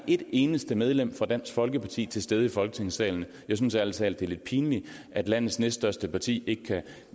et eneste medlem fra dansk folkeparti til stede i folketingssalen jeg synes ærlig talt det er lidt pinligt at landets næststørste parti ikke kan